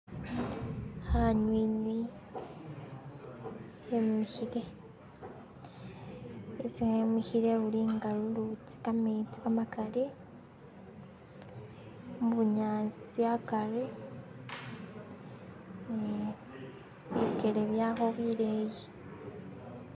hanywinywi hemihile isi hemihile lulinga lulutsi lwekametsi kamakali mubunyasi akari bikele byawe bileyi